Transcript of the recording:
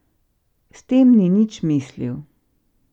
S tem ni nič mislil.